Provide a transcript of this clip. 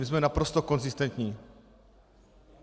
My jsme naprosto konzistentní.